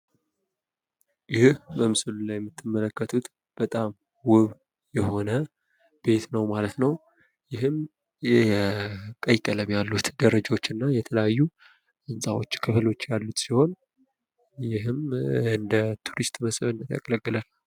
ይህ በምስሉ ላይ የምትመለከቱት በጣም ዉብ የሆነ ቤት ነው ማለት ነው። ይህም ቀይ ቀለም ያሉት ደረጃወች እና ህንጻዎች ክፍሎች ያሉት ሲሆን ይህም እንደ ቱሪስት መስህብነት ያገለግላል።